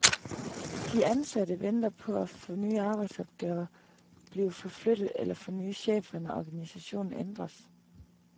De ansatte venter på at få nye arbejdsopgaver, blive forflyttet eller få nye chefer, når organisationen ændres.